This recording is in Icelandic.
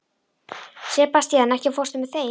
Sebastian, ekki fórstu með þeim?